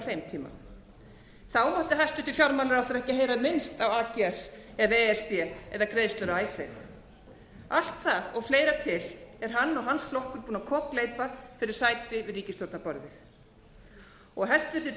þeim tíma mátti hæstvirtur fjármálaráðherra ekki heyra minnst á ags eða e s b eða greiðslur af icesave allt það og fleira til er hann og hans flokkur búinn að kokgleypa fyrir sæti við ríkisstjórnarborðið hæstvirts